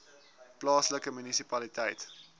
plaaslike munisipaliteit